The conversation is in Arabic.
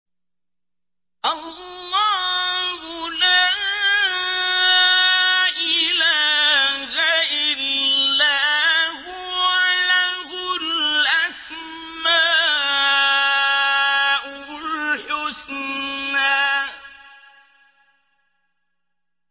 اللَّهُ لَا إِلَٰهَ إِلَّا هُوَ ۖ لَهُ الْأَسْمَاءُ الْحُسْنَىٰ